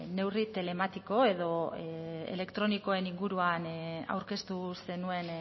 neurri telematiko edo elektronikoen inguruan aurkeztu zenuen